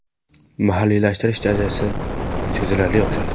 Mahalliylashtirish darajasi sezilarli oshadi.